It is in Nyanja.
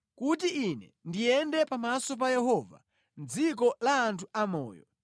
kuti ine ndiyende pamaso pa Yehova mʼdziko la anthu amoyo.